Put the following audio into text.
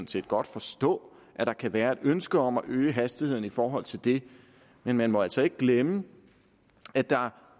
set godt forstå at der kan være et ønske om at øge hastigheden i forhold til det men man må altså ikke glemme at der